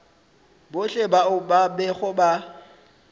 bohle bao ba bego ba